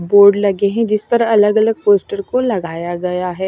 Board लगे हैं जिस पर अलग अलग पोस्टर को लगाया गया है।